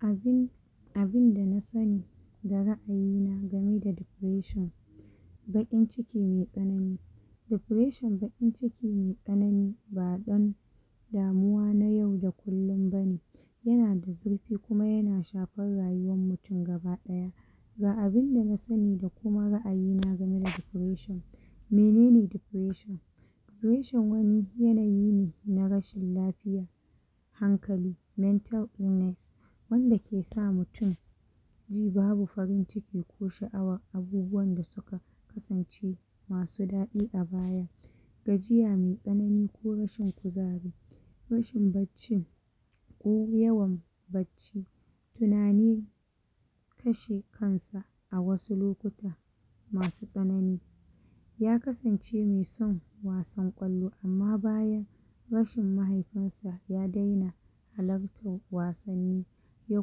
Abun abinda na sani da ra'ayi na game da depression baƙin ciki mai tsanani depression baƙin ciki mai tsanani ba ɗan damuwa na yau da kullun bane yana da zurfi kuma yana shafar rayuwan mutun gabaɗaya ga abinda na sani da kuma ra'ayi na game da depression mene ne depression? depression wani yanayi ne na rashin lafiya hankali, mental illness wanda ke sa mutun ji babu farin ciki ko sha'awan abubuwan da suka kasance masu daɗi a baya gajiya mai tsanani ko rashin kuzari rashin bacci ko yawan bacci tunani kashe kan sa a wasu lokuta masu tsanani ya kasance mai son wasan ƙwallo amma bayan rashin mahaifin sa ya daina halartan wasanni ya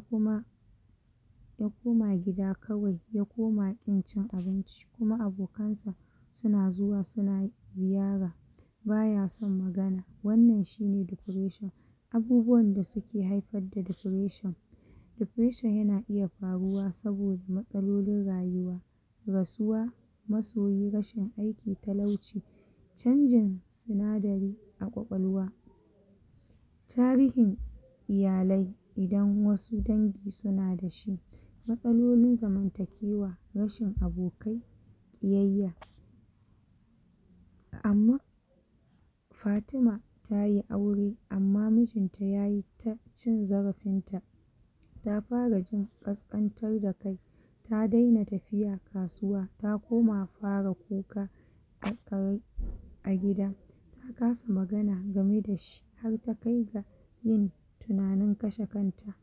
kuma ya koma gida kawai, ya koma ƙin cin abinci kuma abokan sa suna zuwa suna ziyara baya son magana, wannan shi ne depression abubuwan da suke haifar da depression, depression yana iya faruwa saboda matsalolin rayuwa rasuwa masoyi, rashin aiki, talauci canjin sinadari a ƙwaƙwalwa tarihin iyalai idan wasu dangi suna da shi matsalolin zamantakewa rashin abokai ƙiyayya amma Fatima tayi aure amma mijin ta yayi ta cin zarafin ta ta fara jin ƙasƙantar da kai ta daina tafiya kasuwa ta koma fara kuka a tsare, a gida ta kasa magana game da shi har ta kai ga yin tunanin kashe kan ta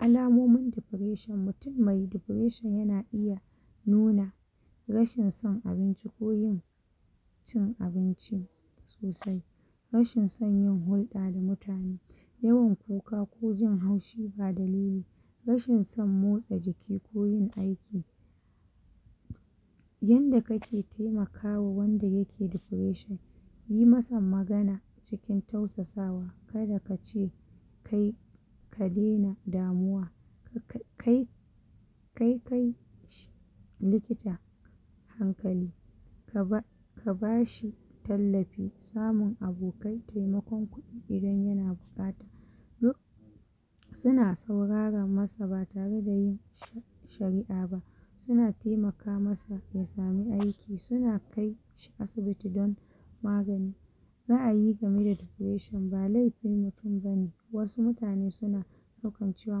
alamomin depression, mutun mai depression yana iya nuna rashin son abinci ko yin cin abinci sosai rashin son yin hulɗa da mutane yin kuka ko jin haushi ba dalili rashin son motsa jiki ko yin aiki yanda kake taimakawa wanda yake depression, yi masa magana cikin tausasawa, kada kace kai ka dena damuwa kai kai kai likita hankali ka ba ka ba shi tallafi, samun abokai taimakon kuɗi idan yana buƙata um suna saurara masa ba tare da yin shari'a ba suna taimaka masa ya samu aiki, suna kai asibiti don magani ra'ayi game da depression ba laifin mutun bane wasu mutane suna ɗaukan cewa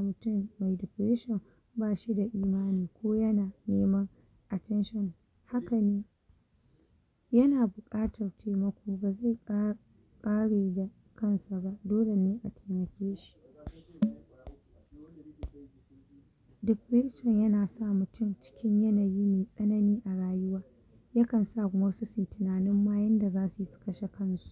mutun mai depression ba shi da imani ko yana neman attention hakan yana buƙatar taimako da zai ƙara ƙarin da kan sa ba dole ne a taimake shi depression yana sa mutun cikin yanayi mai tsanani a rayuwa yakan sa ma wasu suyi tunanin ma yanda zasu yi su kashe kan su.